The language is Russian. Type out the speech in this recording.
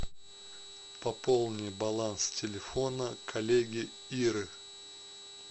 пополни баланс телефона коллеги иры